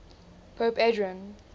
pope adrian